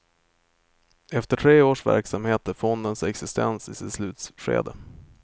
Efter tre års verksamhet är fondens existens i sitt slutskede.